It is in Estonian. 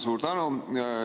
Suur tänu!